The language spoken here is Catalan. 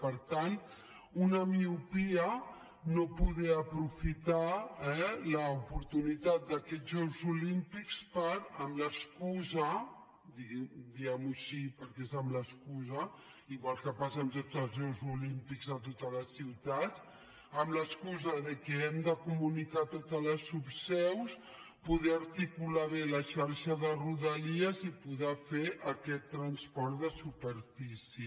per tant una miopia no poder aprofitar l’oportunitat d’aquests jocs olímpics per amb l’excusa diguem ho així perquè és amb l’excusa igual que passa amb tots els jocs olímpics a totes les ciutats que hem de comunicar totes les subseus poder articular bé la xarxa de rodalies i poder fer aquest transport de superfície